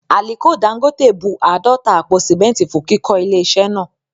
Àliko Dangote bun àádọ́ta àpò sìmẹ́ntì fún kíkọ́ ilé iṣẹ́ náà